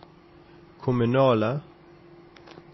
kommunale